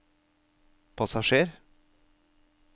passasjer